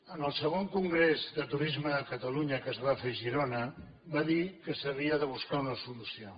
en el segon congrés de turisme de catalunya que es va fer a girona va dir que s’havia de buscar una solució